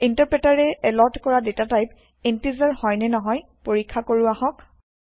ইনটাৰপ্ৰেটাৰে এলত কৰা data type integer হয় নে নহয় পৰীক্ষা কৰো আহক